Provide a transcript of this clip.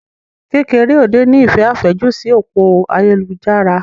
Kekereode ní ìfẹ́ àfẹ́jù sí òpó ayélujára.